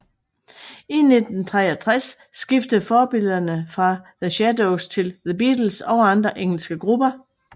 Fra 1963 skiftede forbillederne fra The Shadows til The Beatles og andre engelske grupper